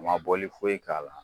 U ma bɔli foyi k'a la.